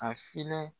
A filanan